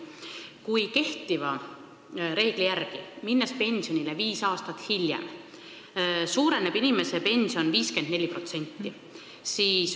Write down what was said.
Kui kehtiva reegli järgi minna pensionile viis aastat hiljem, suureneb inimese pension 54%.